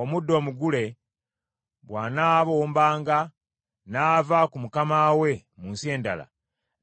“Omuddu omugule bw’anaabombanga n’ava ku mukama we mu nsi endala,